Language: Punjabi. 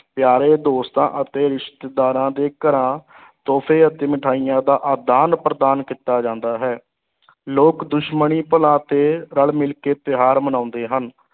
ਪਿਆਰੇ ਦੋਸਤਾਂ ਅਤੇ ਰਿਸ਼ਤੇਦਾਰਾਂ ਦੇ ਘਰਾਂ ਤੋਹਫ਼ੇ ਅਤੇ ਮਿਠਾਈਆਂ ਦਾ ਆਦਾਨ-ਪ੍ਰਦਾਨ ਕੀਤਾ ਜਾਂਦਾ ਹੈ ਲੋਕ ਦੁਸ਼ਮਣੀ ਭੁਲਾ ਕੇ ਰਲ-ਮਿਲ ਕੇ ਤਿਉਹਾਰ ਮਨਾਉਂਦੇ ਹਨ।